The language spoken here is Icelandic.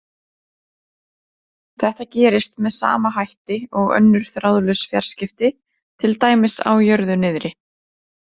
Þetta gerist með sama hætti og önnur þráðlaus fjarskipti, til dæmis á jörðu niðri.